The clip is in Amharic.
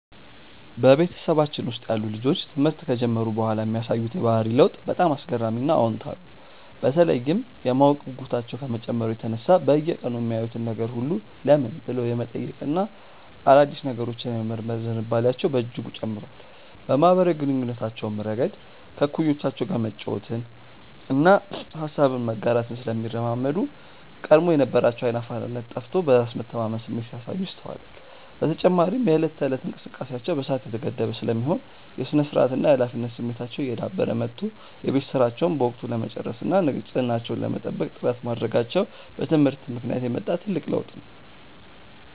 በቤተሰባችን ውስጥ ያሉ ልጆች ትምህርት ከጀመሩ በኋላ የሚያሳዩት የባህሪ ለውጥ በጣም አስገራሚና አዎንታዊ ነው፤ በተለይም የማወቅ ጉጉታቸው ከመጨመሩ የተነሳ በየቀኑ የሚያዩትን ነገር ሁሉ "ለምን?" ብለው የመጠየቅና አዳዲስ ነገሮችን የመመርመር ዝንባሌያቸው በእጅጉ ጨምሯል። በማኅበራዊ ግንኙነታቸውም ረገድ ከእኩዮቻቸው ጋር መጫወትንና ሐሳብን መጋራትን ስለሚለማመዱ፣ ቀድሞ የነበራቸው ዓይን አፋርነት ጠፍቶ በራስ የመተማመን ስሜት ሲያሳዩ ይስተዋላል። በተጨማሪም የዕለት ተዕለት እንቅስቃሴያቸው በሰዓት የተገደበ ስለሚሆን፣ የሥነ-ስርዓትና የኃላፊነት ስሜታቸው እየዳበረ መጥቶ የቤት ሥራቸውን በወቅቱ ለመጨረስና ንጽሕናቸውን ለመጠበቅ ጥረት ማድረጋቸው በትምህርት ምክንያት የመጣ ትልቅ ለውጥ ነው።